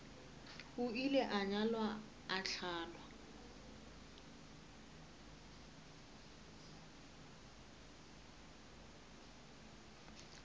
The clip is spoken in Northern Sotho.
ile a nyalwa a hlalwa